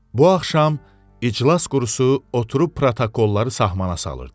Bu axşam iclas qurusu oturub protokolları sahmana salırdı.